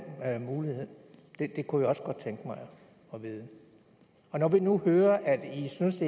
mulighed det kunne jeg også godt tænke mig at vide når vi nu hører at i synes